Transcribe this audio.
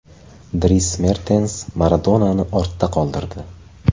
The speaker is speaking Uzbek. Dris Mertens Maradonani ortda qoldirdi.